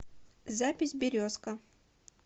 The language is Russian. запись березка